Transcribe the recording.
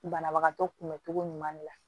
Banabagatɔ kunbɛcogo ɲuman de la